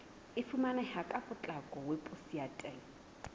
e fumaneha ka potlako weposaeteng